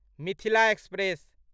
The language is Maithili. मिथिला एक्सप्रेस